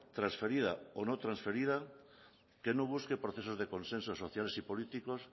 transferida o no transferida que no busque procesos de consensos sociales y políticos